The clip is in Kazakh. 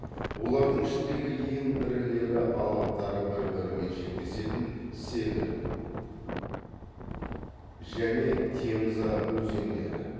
олардың ішіндегі ең ірілері алаптары бір бірімен шектесетін северн және темза өзендері